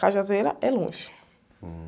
é longe.